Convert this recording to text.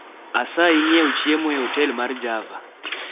Asayi ng?ew chiemo e otel mar Java